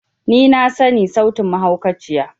Ni na sani sautin mahaukaciya.